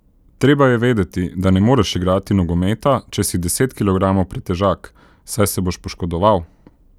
Treba je vedeti, da ne moreš igrati nogometa, če si deset kilogramov pretežak, saj se boš poškodoval.